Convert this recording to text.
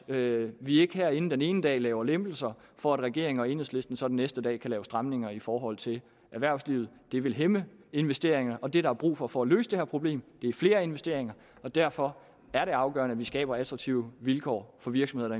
at vi ikke herinde den ene dag laver lempelser for at regeringen og enhedslisten så den næste dag kan lave stramninger i forhold til erhvervslivet det vil hæmme investeringer og det der er brug for for at løse det her problem er flere investeringer derfor er det afgørende at vi skaber attraktive vilkår for virksomheder